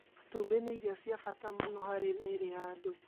Matumbĩ nĩ irio cia bata mũno harĩ mĩĩrĩ ya andũ